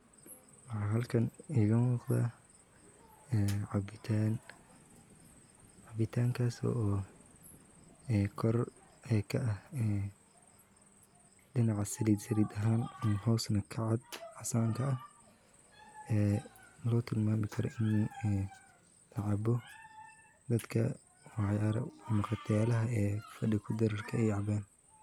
Waxa halkan iga muuqda ee cabitan, cabitankas oo kor ka aha ee dhinaca saliid saliid ahan ama hos na kacad caasan ka ah ee logu tala gale in loo kariyo oy lacabo dadka waxa hotelaha fadhi kudirirka ay cabaan